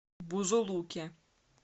бузулуке